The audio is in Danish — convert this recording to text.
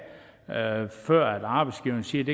uanset